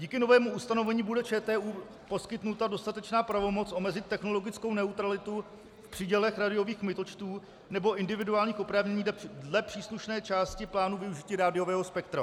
Díky novému ustanovení bude ČTÚ poskytnuta dostatečná pravomoc omezit technologickou neutralitu v přídělech rádiových kmitočtů nebo individuálních oprávnění dle příslušné části plánu využití rádiového spektra.